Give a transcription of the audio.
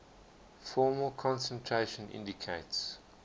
formal concentration indicates